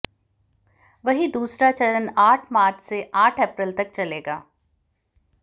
वहीं दूसरा चरण आठ मार्च से आठ अप्रैल तक चलेगा